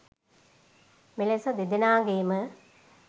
මෙලෙස දෙදෙනාගේම